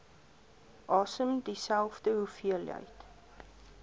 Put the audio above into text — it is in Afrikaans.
asem dieselfde hoeveelheid